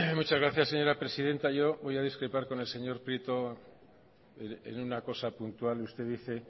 muchas gracias señora presidenta yo voy a discrepar con el señor prieto en una cosa puntual usted dice